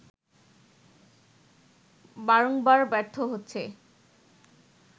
বারংবার ব্যর্থ হচ্ছে